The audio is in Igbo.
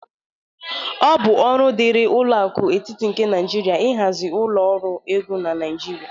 Ọ bụ ọrụ dịrị ụlọ aku etịtị nke Naịjirịa ịhazi ụlọ ọrụ ego na Naịjirịa